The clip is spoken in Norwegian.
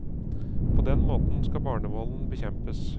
På den måten skal barnevolden bekjempes.